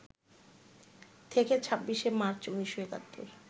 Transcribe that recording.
থেকে ২৬শে মার্চ, ১৯৭১